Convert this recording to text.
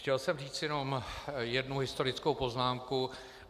Chtěl jsem říct jenom jednu historickou poznámku.